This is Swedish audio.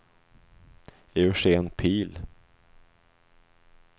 Eugén Pihl